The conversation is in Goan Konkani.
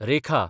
रेखा